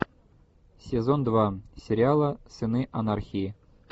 сезон два сериала сыны анархии